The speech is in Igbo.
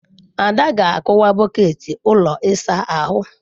Ada ga-akụwa bọket ụlọ ịsa ahụ.